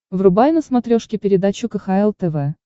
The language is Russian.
врубай на смотрешке передачу кхл тв